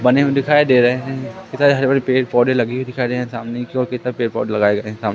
बने हुए दिखाई दे रहे हैं इधर हरे भरे पेड़ पौधे लगे हुए दिखाई दे रहे हैं सामने की ओर पेड़ पौधे लगाए गए है साम--